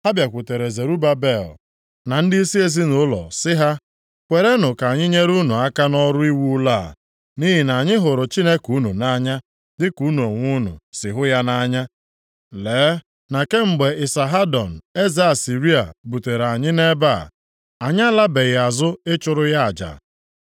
ha bịakwutere Zerubabel na ndịisi ezinaụlọ sị ha, “Kwerenụ ka anyị nyere unu aka nʼọrụ iwu ụlọ a, nʼihi na anyị hụrụ Chineke unu nʼanya dịka unu onwe unu si hụ ya nʼanya. Lee na kemgbe Isahadon eze Asịrịa butere anyị nʼebe a, anyị alabeghị azụ ịchụrụ ya aja.”